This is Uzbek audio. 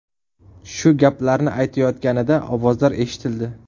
Shu gaplarni aytayotganida ovozlar eshitildi.